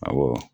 Awɔ